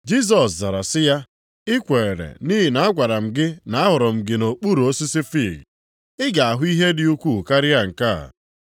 Jisọs zara sị ya, “I kwere nʼihi na agwara m gị na ahụrụ m gị nʼokpuru osisi fiig? Ị ga-ahụ ihe dị ukwuu karịa nke a.”